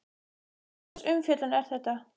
Hvurslags umfjöllun er þetta?